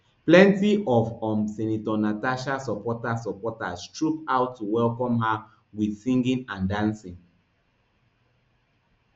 plenty of um senator natasha supporters supporters troop out to welcome her wit singing and dancing